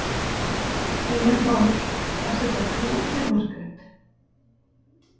Heimir Már: Er þetta flókið Margrét?